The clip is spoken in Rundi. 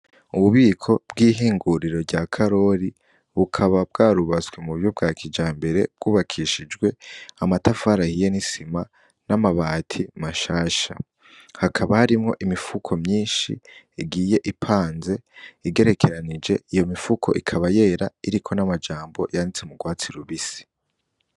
Ububiko bw'ihinguriro rya karori bukaba bwarubaswe mu buyo bwa kija mbere bwubakishijwe amatafarahiye n'isima n'amabati mashasha hakaba harimwo imifuko myinshi igiye ipanze igerekeranije iyo mifuko ikaba yera iriko n'amajambo yanditse mugwana sirubisi.